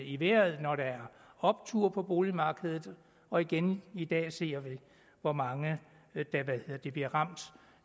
i vejret når der er optur på boligmarkedet og igen i dag ser vi hvor mange der bliver ramt